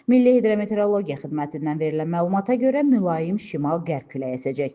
Milli hidrometeorologiya xidmətindən verilən məlumata görə mülayim şimal qərb küləyi əsəcək.